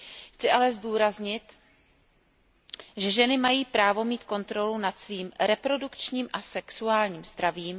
Chci ale zdůraznit, že ženy mají právo mít kontrolu nad svým reprodukčním a sexuálním zdravím.